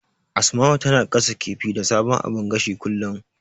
Asma'u tana gasa kifi da sabon abun gashin kullum.